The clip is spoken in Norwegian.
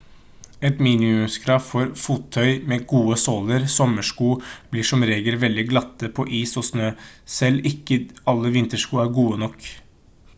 et minimumskrav er fottøy med gode såler sommersko blir som regel veldig glatte på is og snø selv ikke alle vintersko er gode nok